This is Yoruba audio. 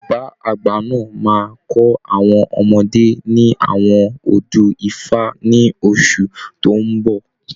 Bàbá àgbà náà máa kọ àwọn ọmọdé ní àwọn odù ifá ní oṣù tó ń bọ̀.